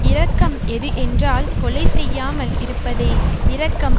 இரக்கம் எது என்றால் கொலை செய்யாமல் இருப்பதே இரக்கம்